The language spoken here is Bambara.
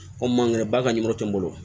O man kɛnɛ ba ka nimɔrɔ tɛ n bolo